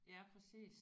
Ja præcis